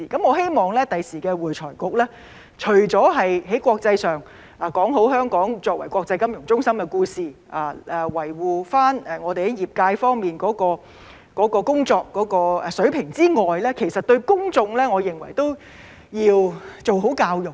我希望未來的會財局除了在國際上說好香港作為國際金融中心的故事，維護業界的工作水平之外，我認為對公眾都要做好教育。